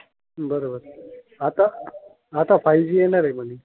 बरोबर. आता आता फायू जी येणार आहे म्हणे.